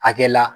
Hakɛ la